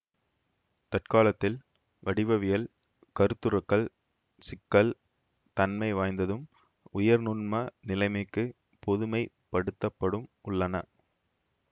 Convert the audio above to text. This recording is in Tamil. தற்காலத்தில் வடிவவியல் கருத்துருக்கள் சிக்கல் தன்மை வாய்ந்ததும் உயர் நுண்ம நிலைமைக்கு பொதுமைப் படுத்தப்படும் உள்ளன